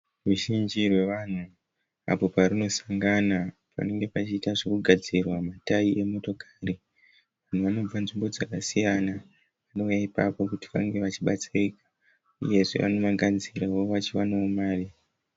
Ruzhinji rwevanhu apo parinosangana panenge panoita zvekugadzirwa ma tayi emotokari. Vanhu vanobva nzvimbo dzakasiyana vanouya ipapo kuti vange vachibatsirika uyezve vanounganidzira kuti vange vachionawo mari.